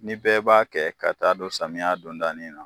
Ni bɛɛ b'a kɛ ka taa don samiya dondanin na